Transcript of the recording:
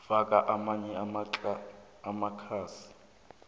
faka amanye amakhasi